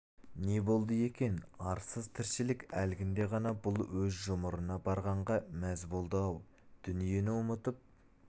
не болды екен арсыз тіршілік әлгінде ғана бұл өз жұмырына барғанға мәз болды-ау дүниені ұмытып